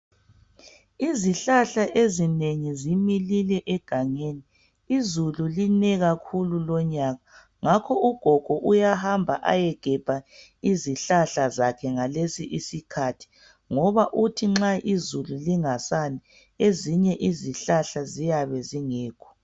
Izihlahla ezinengi zimilile egangeni izulu line kakhulu lonyaka ngakho ugogo uyahamba ayegebha izihlahla zakhe ngalesi isikhathi ngoba uthi nxa izulu lingasani ezinye izihlahla ziyabe zingekho.